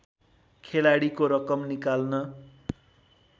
खेलाडीको रकम निकाल्न